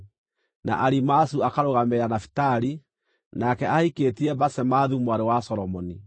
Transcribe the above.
na Alimaazu akarũgamĩrĩra Nafitali (nake aahikĩtie Basemathu mwarĩ wa Solomoni);